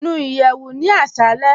Nú ìyẹwù ní àṣàlẹ̀.